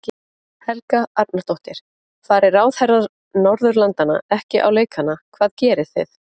Helga Arnardóttir: Fari ráðherrar Norðurlandanna ekki á leikana hvað gerið þið?